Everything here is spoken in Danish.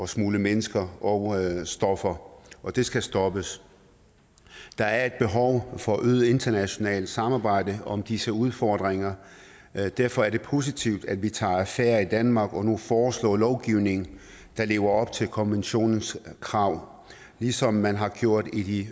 smugle mennesker og stoffer og det skal stoppes der er et behov for et øget internationalt samarbejde om disse udfordringer derfor er det positivt at vi tager affære i danmark og nu foreslår en lovgivning der lever op til konventionens krav ligesom man har gjort i